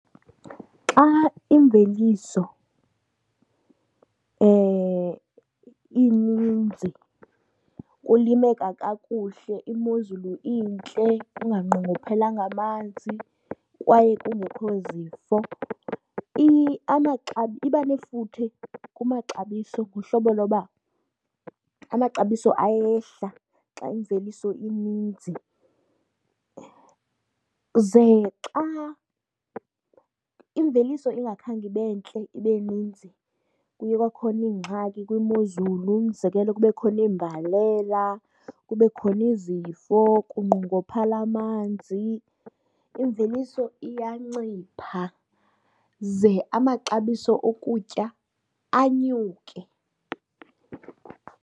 Xa imveliso ininzi kulimeka kakuhle imozulu intle kunganqongophelanga amanzi kwaye kungekho zifo, iba nefuthe kumaxabiso ngohlobo loba amaxabiso ayehla xa imveliso ininzi. Ze xa imveliso ingakhange ibe ntle, ibe ninzi kuye kwakhona ingxaki kwimozulu, umzekelo kube khona imbalela, kube khona izifo kunqongophale amanzi imveliso iyancipha ze amaxabiso okutya anyuke.